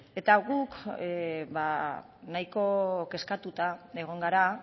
eta guk ba nahiko kezkatuta egon gara